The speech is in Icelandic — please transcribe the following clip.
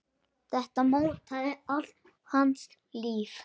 Þetta mótaði allt hans líf.